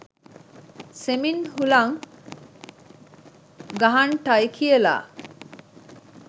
සෙමින් හුළං ගහන්ටයි කියලා.